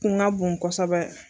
Kun ka bon kosɛbɛ.